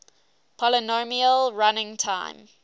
polynomial running time